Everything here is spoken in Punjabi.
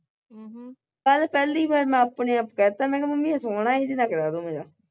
ਕੱਲ ਪਹਿਲੀ ਵਾਰ ਮੈਂ ਆਪਣੇ ਆਪ ਕਹਿ ਤਾਂ ਮੈਂ ਕਿਹਾ ਮੰਮੀ ਇਹ ਸੋਹਣਾ ਈ ਇਹਨੇ ਨਾਲ ਕਰਾ ਦੋ ਮੇਰਾ